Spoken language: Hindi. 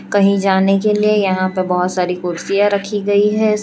कहीं जाने के लिए यहां पर बहोत सारी कुर्सियां रखी गई है।